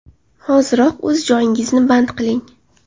Hoziroq o‘z joyingizni band qiling!